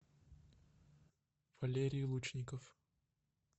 валерий лучников